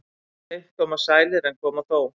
Seint koma sælir en koma þó.